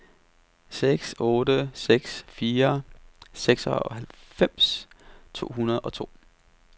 seks otte seks fire seksoghalvfems tre hundrede og to